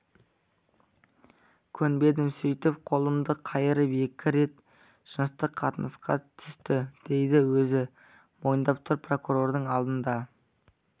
көнбедім сөйтіп қолымды қайырып екі рет жыныстық қатынасқа түсті дейді өзі мойындап тұр прокурордың алдында